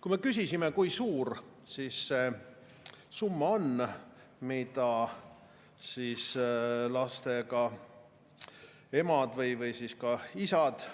Kui me küsisime, kui suur see summa on, mida võivad saada lastega emad või isad